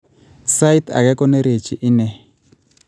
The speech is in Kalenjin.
Sait age konerechi ine